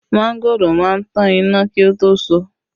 Mangoro má ń tan iná kí ó tó so